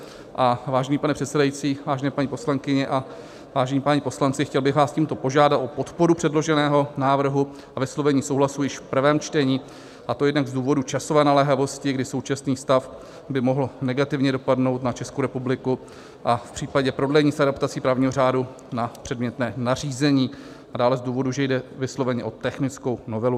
Vážený pane předsedající, vážené paní poslankyně a vážení páni poslanci, chtěl bych vás tímto požádat o podporu předloženého návrhu a vyslovení souhlasu již v prvém čtení, a to jednak z důvodu časové naléhavosti, kdy současný stav by mohl negativně dopadnout na Českou republiku a v případě prodlení s adaptací právního řádu na předmětné nařízení, a dále z důvodu, že jde vysloveně o technickou novelu.